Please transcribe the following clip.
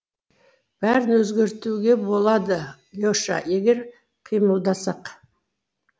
бәрін өзгертуге болады леша егер қимылдасақ